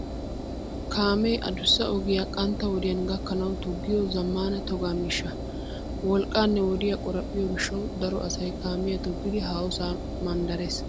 Kaamee adussa ogiya qantta wodiyan gakkanawu toggiyo zammaana toga miishsha. Wolqqaanne wodiya qoraphphiyo gishshawu daro asay kaamiya toggidi haahosaa manddarees.